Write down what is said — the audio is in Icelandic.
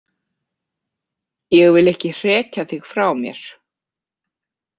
Ég vil ekki hrekja þig frá mér.